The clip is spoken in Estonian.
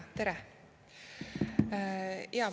Tere!